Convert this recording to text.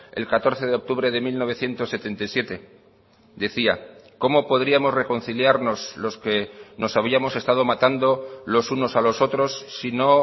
el catorce de octubre de mil novecientos setenta y siete decía cómo podríamos reconciliarnos los que nos habíamos estado matando los unos a los otros sino